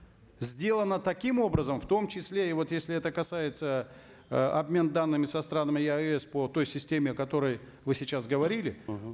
сделано таким образом в том числе и вот если это касается э обмен данными со странами еаэс по той системе о которой вы сейчас говорили мхм